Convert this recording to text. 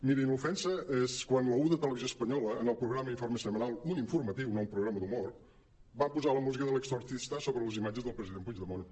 mirin l’ofensa és quan la un de televisió espanyola en el programa informe semanal un informatiu no un programa d’humor van posar la música de l’exorcistasobre les imatges del president puigdemont